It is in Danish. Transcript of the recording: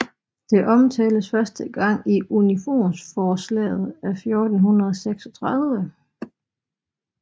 Det omtales første gang i i unionsförslaget af 1436